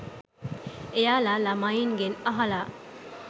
එයාලා ළමයින්ගෙන් අහලා